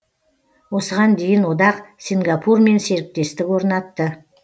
осыған дейін одақ сингапурмен серіктестік орнатты